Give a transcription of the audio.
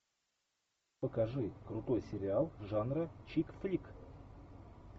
покажи крутой сериал жанра чик флик